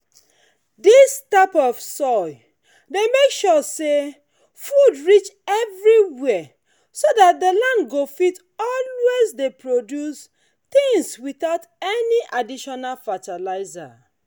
this type of soil dey make sure say food reach everywhere so that the land go fit always dey produce things without any additional fertilizer.